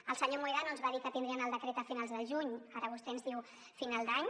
el senyor mohedano ens va dir que tindrien el decret a finals del juny ara vostè ens diu final d’any